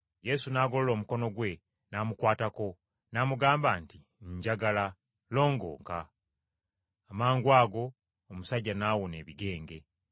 Yesu n’agolola omukono gwe n’amukwatako n’amugamba nti, “Njagala, longooka.” Amangwago omusajja n’awona ebigenge.